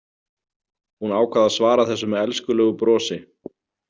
Hún ákvað að svara þessu með elskulegu brosi.